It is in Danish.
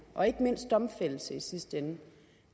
og ikke mindst domfældelse i sidste ende